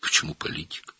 Niyə siyasət?